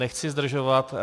Nechci zdržovat.